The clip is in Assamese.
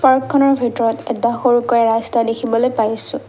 পাৰ্কখনৰ ভিতৰত এটা সৰুকৈ ৰাস্তা দেখিবলৈ পাইছোঁ।